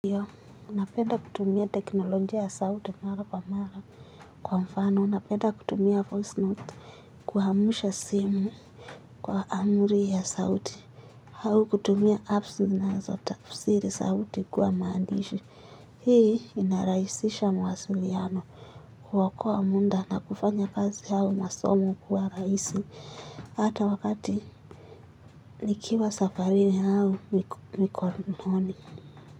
Nanapenda kutumia teknolojia ya sauti mara kwa mara kwa mfano na napenda kutumia voice note. Kuamsha simu kwa amri ya sauti au kutumia apps zinazotafsiri sauti kuwa maandishi. Hii inarahisisha mawasiliano. Huokoa muda na kufanya kazi au masomo kuwa rahisi hata wakati nikiwa safari yao mikononi. Kwa hivyo.